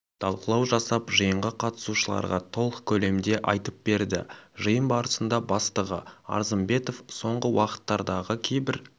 талқылау жасап жиынға қатысушыларға толық көлемде айтып берді жиын барысында бастығы арзымбетов соңғы уақыттардағы кейбір